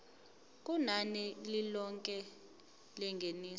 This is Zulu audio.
kunani lilonke lengeniso